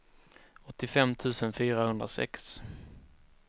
åttiofem tusen fyrahundrasex